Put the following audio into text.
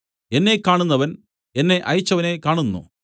എന്നെ കാണുന്നവൻ എന്നെ അയച്ചവനെ കാണുന്നു